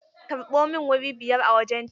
Karɓo min wuri biyar a wajen ta!